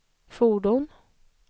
fordon